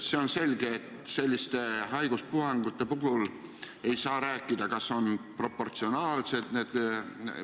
Sealt tuli seisukoht, et kui selline asi peaks juhtuma lasteaias, põhikoolis või gümnaasiumis, siis tuleb see asutus sulgeda vähemalt kaheks nädalaks, loomulikult Terviseameti ja koolipidaja koostöös.